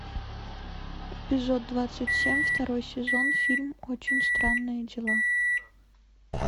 эпизод двадцать семь второй сезон фильм очень странные дела